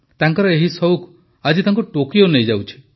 ତାଙ୍କର ଏହି ସଉକ ଆଜି ତାଙ୍କୁ ଟୋକିଓ ନେଇଯାଉଛି